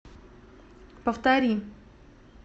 повтори